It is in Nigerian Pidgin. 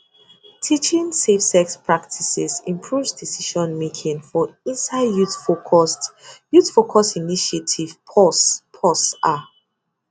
teaching safe sex practices improves decision making for inside youth focused youth focused initiatives pause pause ah